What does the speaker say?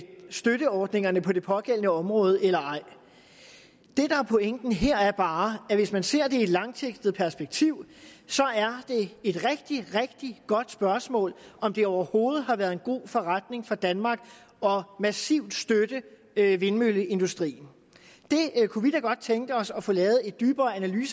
støtteordningerne på det pågældende område eller ej det der er pointen her er bare at hvis man ser det i et langsigtet perspektiv så er det et rigtig rigtig godt spørgsmål om det overhovedet har været en god forretning for danmark massivt at støtte vindmølleindustrien det kunne vi da godt tænke os at få lavet et dyberegående